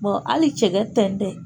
hali cɛkɛ tɛntɛn.